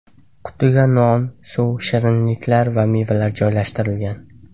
Qutiga non, suv, shirinlik va mevalar joylashtirilgan.